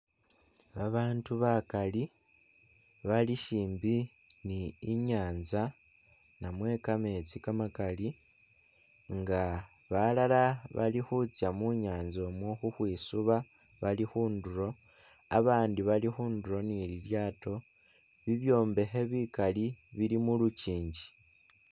Abandu bakaali, bali syimbi ni i'nyanza namwe kametsi kamakali nga balala bali khutsya mu nyanza umwo khukhwisuba bali khundulo, abandi bali khundulo ni lilyato, bibyombekhe bikali bili mu lukingi.